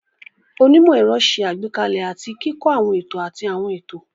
Onímọ̀-ẹ̀rọ ṣe àgbékalẹ̀ àti kíkọ́ àwọn ètò àti àwọn ètò.